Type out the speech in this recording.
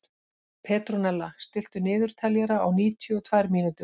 Petrónella, stilltu niðurteljara á níutíu og tvær mínútur.